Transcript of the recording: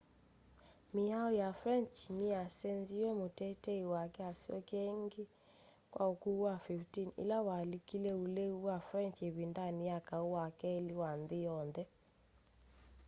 miao ya french niyasenziw'e mutetei wake asyokie ingi kwa ukuu wa 15 ila walikile ulei wa french ivindani ya kau wa keli wa nthi yonthe